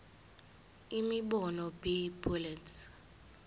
imibono b bullets